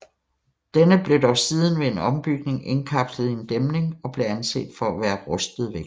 Denne blev dog siden ved en ombygning indkapslet i en dæmning og blev anset for at være rustet væk